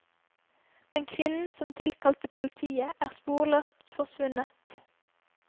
Men kvinnen som tilkalte politiet, er sporløst forsvunnet.